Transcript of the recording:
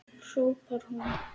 hrópar hún.